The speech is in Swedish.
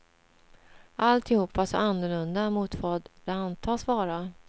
Alltihop var så annorlunda mot vad det antas vara.